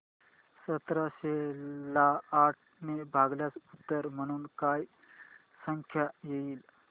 सतराशे ला आठ ने भागल्यास उत्तर म्हणून काय संख्या येईल